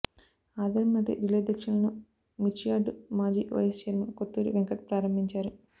ఆదివారం నాటి రిలే దీక్షలను మిర్చియార్డు మాజీ వైస్ చైర్మన్ కొత్తూరి వెంకట్ ప్రారంభించారు